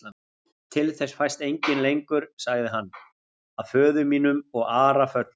Til þess fæst enginn lengur, sagði hann,-að föður mínum og Ara föllnum.